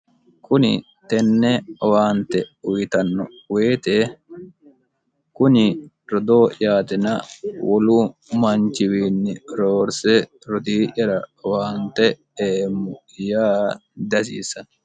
kuni tenne owaante uyitanno woyite kuni rodoo'yaatina wolu manchiwiinni roorse rotii'yara owaante eemmo yaa diahasiissano